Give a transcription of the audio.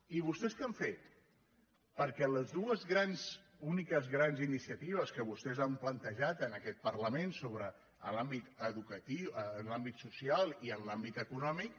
i vostès què han fet perquè les dues úniques grans iniciatives que vostès han plantejat en aquest parlament en l’àmbit social i en l’àmbit econòmic